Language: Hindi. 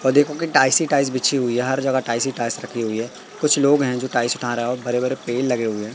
वो देखो की टाइस ही टाइस बिछी हुई है हर जगह टाइस ही टाइस रखी हुए है कुछ लोग हैं जो टाइस उठा रहे हैं ओ बड़े बड़े पेड़ लगे हुए हैं।